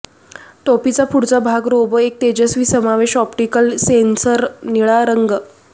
टोपीचा पुढचा भाग रोबो एक तेजस्वी समावेश ऑप्टिकल सेन्सर्स निळा रंग